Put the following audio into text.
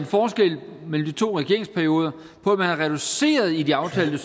forskel mellem de to regeringsperioder at man reducerede i de aftalte